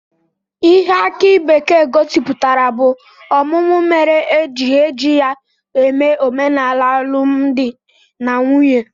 Ihe aki bekee gosipụtara bụ ọmụmụ mere e ji eji ya eme omenala alụmdi na nwunye